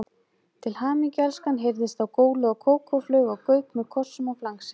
Til hamingju elskan heyrðist þá gólað og Kókó flaug á Gauk með kossum og flangsi.